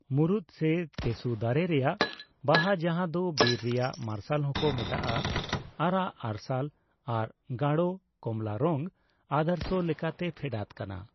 ᱢᱩᱨᱩᱫ ᱥᱮ ᱛᱮᱥᱩ ᱫᱟᱨᱮᱹ ᱨᱮᱭᱟᱜ ᱵᱟᱦᱟ ᱡᱟᱦᱟᱸ ᱫᱚ ᱵᱤᱨ ᱨᱮᱭᱟᱜ ᱢᱟᱨᱥᱟᱞ ᱦᱚᱠᱚ ᱢᱮᱛᱟᱜᱼᱟ, ᱟᱨᱟᱜ ᱟᱨᱥᱟᱞ ᱟᱨ ᱜᱟᱲᱚ ᱠᱚᱢᱞᱟ ᱨᱚᱝ ᱟᱫᱚᱨᱥᱚ ᱞᱮᱠᱟᱛᱮ ᱯᱷᱮᱰᱟᱛ ᱠᱟᱱᱟ ᱾